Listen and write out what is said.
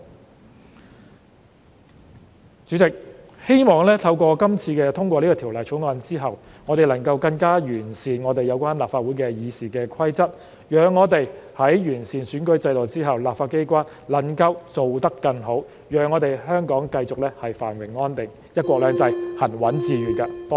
代理主席，希望在今次通過《條例草案》後，我們能更加完善立法會的《議事規則》，讓我們在完善選舉制度之後，立法機關能做得更好，讓我們香港繼續繁榮安定，"一國兩制"行穩致遠。